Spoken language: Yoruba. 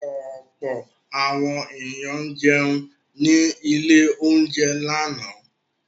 Ọ̀pọ̀ àwọn ènìyàn jẹun ní ilé-oúnjẹ lánàá.